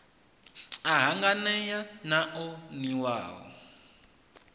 a hanganea na o niwaho